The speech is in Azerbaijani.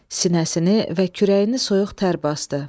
Sinəsini və kürəyini soyuq tər basdı.